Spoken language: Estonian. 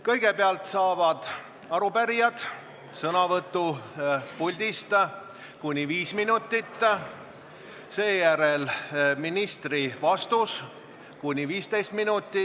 Kõigepealt saavad arupärijad sõnavõtuks puldist kuni viis minutit, seejärel tuleb ministri vastus kuni 15 minutit.